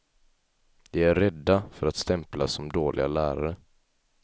De är rädda för att stämplas som dåliga lärare.